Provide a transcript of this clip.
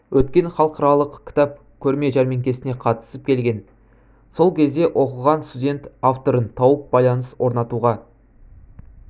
өткен халықаралық кітап көрме жәрмеңкесіне қатысып келген сол кезде оқыған студент авторын тауып байланыс ортануға